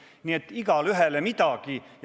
Nii et igaühele midagi.